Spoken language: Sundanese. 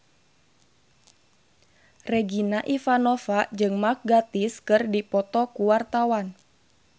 Regina Ivanova jeung Mark Gatiss keur dipoto ku wartawan